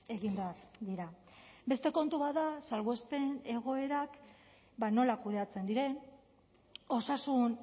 egin behar dira beste kontu bat da salbuespen egoerak nola kudeatzen diren osasun